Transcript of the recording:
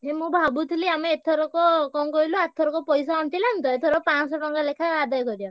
ଏ ମୁଁ ଭାବୁଥିଲି ଆମେ ଏଥରକ କଣ କହିଲୁ ଆରଥରକ ପଇସା ଅଣ୍ଟିଲାନି ତ ଏଥର ପାଂଶହ ଟଙ୍କା ଲେଖା ଆଦାୟ କରିଆ।